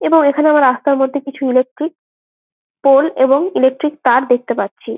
এবং এখানে আমরা রাস্তার মধ্যে কিছু ইলেকট্রিক পোল এবং ইলেকট্রিক তার দেখতে পাচ্ছি।